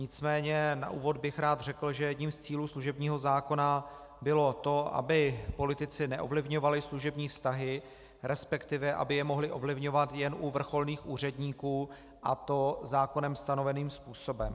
Nicméně na úvod bych rád řekl, že jedním z cílů služebního zákona bylo to, aby politici neovlivňovali služební vztahy, respektive aby je mohli ovlivňovat jen u vrcholných úředníků, a to zákonem stanoveným způsobem.